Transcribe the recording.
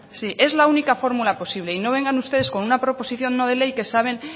sí es la única fórmula posible y no vengan ustedes con una proposición no de ley que saben